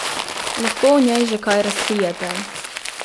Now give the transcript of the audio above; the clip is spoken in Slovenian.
Lahko o njej že kaj razkrijete?